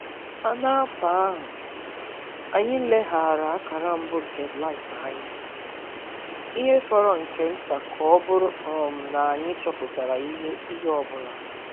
N’afọ ahụ, anyị leghaara akara mbụ nke blight anya, ihe fọrọ nke nta ka ọ bụrụ um na anyị chọpụtara ihe ihe ọ bụla.